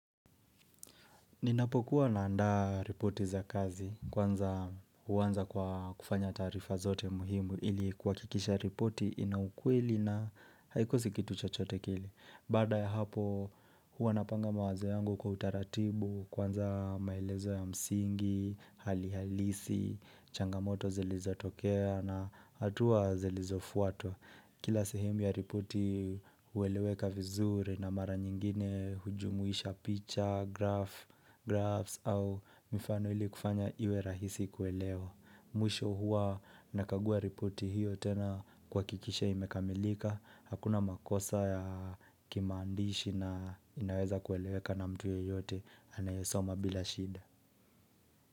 Ninapokuwa naandaa ripoti za kazi kwanza huanza kwa kufanya taarifa zote muhimu ili kuhakikisha ripoti ina ukweli na haikosi kitu chochote kile. Baada ya hapo huwa napanga mawazo yangu kwa utaratibu kwanza maelezo ya msingi, hali halisi, changamoto zilizotokea na hatua zilizofuato. Kila sehimu ya ripoti hueleweka vizuri na mara nyingine hujumuisha picha, graph, graphs au mifano ili kufanya iwe rahisi kuelewa. Mwisho huwa nakagua ripoti hiyo tena kuhakikisha imekamilika. Hakuna makosa ya kimaandishi na inaweza kueleweka na mtu yeyote anayesoma bila shida.